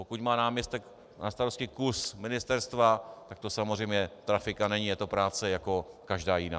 Pokud má náměstek na starosti kus ministerstva, tak to samozřejmě trafika není, je to práce jako každá jiná.